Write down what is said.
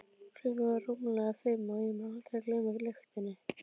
Klukkan var rúmlega fimm og ég mun aldrei gleyma lyktinni.